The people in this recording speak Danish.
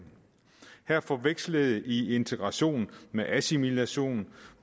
her forvekslede i integration med assimilation